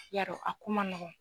Yarɔ a ko man nɔgɔn.